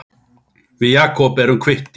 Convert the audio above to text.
Við Jakob erum kvittir